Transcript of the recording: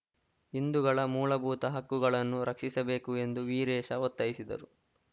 ಹಿಂದುಗಳ ಮೂಲಭೂತ ಹಕ್ಕುಗಳನ್ನು ರಕ್ಷಿಸಬೇಕು ಎಂದು ವೀರೇಶ ಒತ್ತಾಯಿಸಿದರು